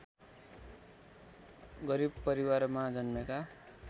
गरिब परिवारमा जन्मेका